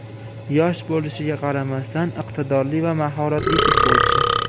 Yosh bo‘lishiga qaramasdan iqtidorli va mahoratli futbolchi.